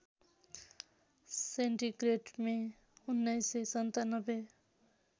centigrade मे १९९७